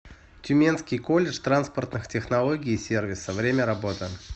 тюменский колледж транспортных технологий и сервиса время работы